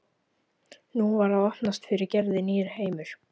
Nú var að opnast fyrir Gerði nýr heimur.